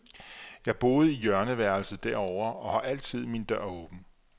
Jeg boede i hjørneværelset derovre og havde altid min dør åben.